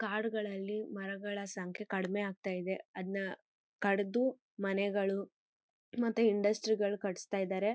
ಕಾಡುಗಳಲ್ಲಿ ಮರಗಳ ಸಂಖ್ಯೆ ಕಡಿಮೆ ಆಗ್ತಾ ಇದೆ ಅದ್ನ ಕಡಿದು ಮನೆಗಳು ಮತ್ತೆ ಇಂಡಸ್ಟ್ರಿ ಗಳು ಕಟ್ಟಿಸ್ತಾ ಇದ್ದಾರೆ.